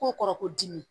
Ko kɔrɔ ko dimi